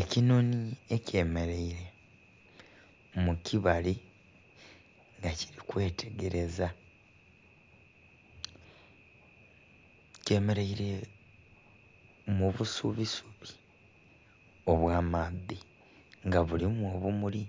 Ekinhonhi ekyemeleire mu kibali nga kiri kwetegereza, kyemeleire mu busubisubi obw'amaadhi nga bulimu obumuli